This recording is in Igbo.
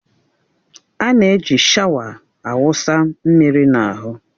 A na-eji shawa a wụsa mmiri n'ahụ.